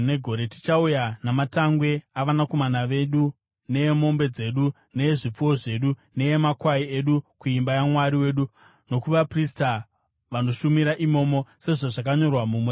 “Tichauya namatangwe avanakomana vedu neemombe dzedu, neezvipfuwo zvedu neemakwai edu kuimba yaMwari wedu, nokuvaprista vanoshumira imomo, sezvazvakanyorwa muMurayiro.